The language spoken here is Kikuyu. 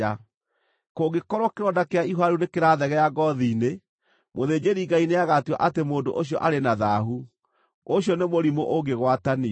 Kũngĩkorwo kĩronda kĩa ihũha rĩu nĩkĩrathegea ngoothi-inĩ, mũthĩnjĩri-Ngai nĩagatua atĩ mũndũ ũcio arĩ na thaahu; ũcio nĩ mũrimũ ũngĩgwatanio.